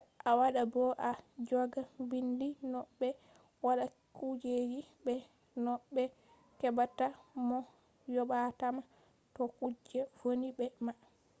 a wada bo a joga bindi no be watta kujeji be no be hebata mo yobatama to kuje vonni be ma